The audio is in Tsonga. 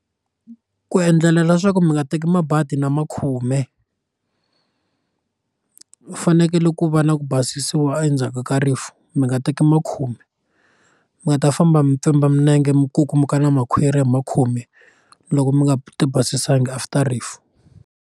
Ku endlela leswaku mi nga teki mabadi na makhume fanekele ku va na ku basisiwa endzhaku ka rifu mi nga teki makhume mi nga ta famba mi pfimba milenge mi kukumuka na makhwiri hi makhume loko mi nga ti basisanga after rifu.